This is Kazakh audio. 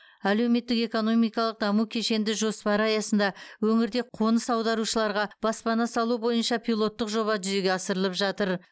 әлеуметтік экономикалық даму кешенді жоспары аясында өңірде қоныс аударушыларға баспана салу бойынша пилоттық жоба жүзеге асырылып жатыр